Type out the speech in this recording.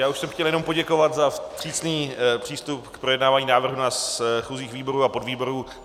Já už jsem chtěl jenom poděkovat za vstřícný přístup k projednávání návrhu na schůzích výborů a podvýborů.